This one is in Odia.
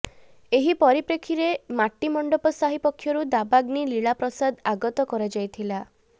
ଏହି ପରିପ୍ରେକ୍ଷୀରେ ମାଟିମଣ୍ଡପ ସାହି ପକ୍ଷରୁ ଦାବାଗ୍ନି ଲୀଳା ପ୍ରସାଦ ଆଗତ କରାଯାଇଥିଲା